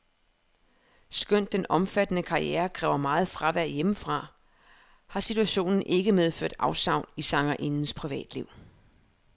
Skønt den omfattende karriere kræver meget fravær hjemmefra, har situationen ikke medført afsavn i sangerindens privatliv.